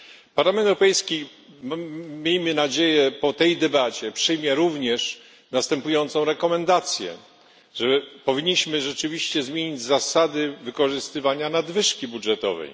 Parlament Europejski, miejmy nadzieję po tej debacie, przyjmie również następującą rekomendacje, że powinniśmy rzeczywiście zmienić zasady wykorzystywania nadwyżki budżetowej.